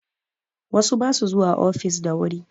Wasu ba su zuwa ofis da wuri